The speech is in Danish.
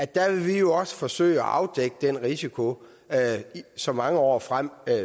der vil vi jo også forsøge at afdække den risiko så mange år frem